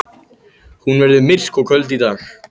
Hún verður myrk og köld í dag.